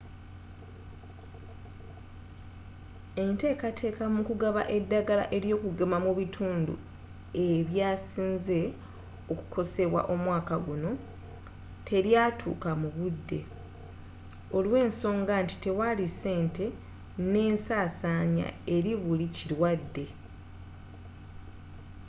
entekateka mu kugaba eddagala ely'okugema mu bitundu e byasinze okukosebwa omwaka guno te lyatuka mu budde olwensonga nti tewali ssente n'ensasanya eri buli kilwadde